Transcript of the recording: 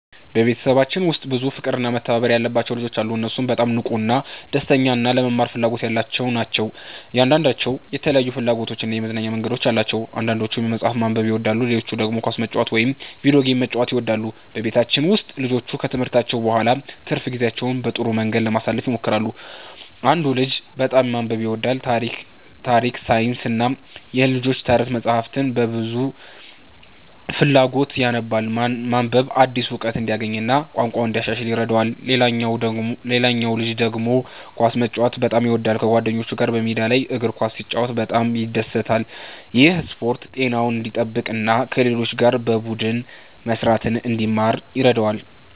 በቤተሰባችን ውስጥ ብዙ ፍቅርና መተባበር ያለባቸው ልጆች አሉ። እነሱ በጣም ንቁ፣ ደስተኛ እና ለመማር ፍላጎት ያላቸው ናቸው። እያንዳንዳቸው የተለያዩ ፍላጎቶችና የመዝናኛ መንገዶች አሏቸው። አንዳንዶቹ መጽሐፍ ማንበብ ይወዳሉ፣ ሌሎቹ ደግሞ ኳስ መጫወት ወይም የቪዲዮ ጌሞችን መጫወት ይወዳሉ። በቤታችን ውስጥ ልጆቹ ከትምህርታቸው በኋላ ትርፍ ጊዜያቸውን በጥሩ መንገድ ለማሳለፍ ይሞክራሉ። አንዱ ልጅ በጣም ማንበብ ይወዳል። ታሪክ፣ ሳይንስና የልጆች ተረት መጻሕፍትን በብዙ ፍላጎት ያነባል። ማንበብ አዲስ እውቀት እንዲያገኝ እና ቋንቋውን እንዲያሻሽል ይረዳዋል። ሌላው ልጅ ደግሞ ኳስ መጫወት በጣም ይወዳል። ከጓደኞቹ ጋር በሜዳ ላይ እግር ኳስ ሲጫወት በጣም ይደሰታል። ይህ ስፖርት ጤናውን እንዲጠብቅ እና ከሌሎች ጋር በቡድን መስራትን እንዲማር ይረዳዋል።